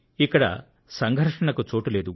ఇక్కడ సంఘర్షణకు చోటు లేదు